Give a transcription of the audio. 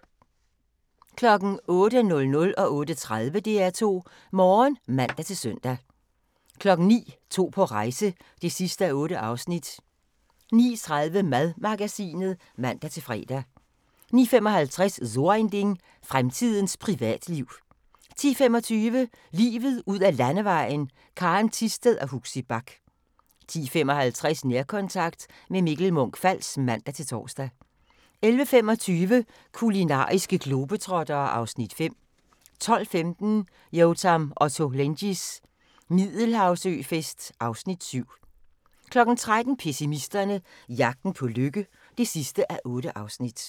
08:00: DR2 Morgen (man-søn) 08:30: DR2 Morgen (man-søn) 09:00: To på rejse (8:8) 09:30: Madmagasinet (man-fre) 09:55: So ein Ding: Fremtidens privatliv 10:25: Livet ud ad Landevejen: Karen Thisted og Huxi Bach 10:55: Nærkontakt – med Mikkel Munch-Fals (man-tor) 11:25: Kulinariske globetrottere (Afs. 5) 12:15: Yotam Ottolenghis Middelhavsøfest (Afs. 7) 13:00: Pessimisterne – jagten på lykke (8:8)